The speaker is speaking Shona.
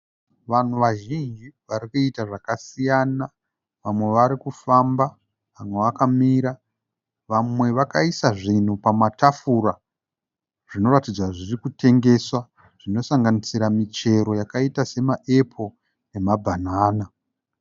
Vanhu vazhinji varikuita zvakasiyana, vamwe varikufamba vamwe vakamira vamwe vakaisa zvinhu pamatafura zvinoratidza kuti zvirikutengeswa zvinosanganisira michero yakaita sema epo nemabhanana.